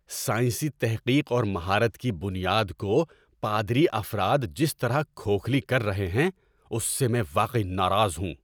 سائنسی تحقیق اور مہارت کی بنیاد کو پادری افراد جس طرح کھوکھلی کر رہے ہیں اس سے میں واقعی ناراض ہوں۔